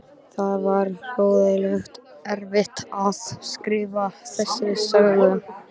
Það var hroðalega erfitt að skrifa þessa sögu.